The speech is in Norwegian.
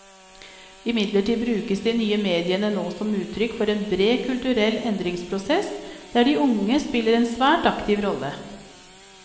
Imidlertid brukes de nye mediene nå som uttrykk for en bred kulturell endringsprosess, der de unge spiller en svært aktiv rolle.